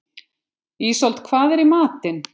Ísold, hvað er í matinn?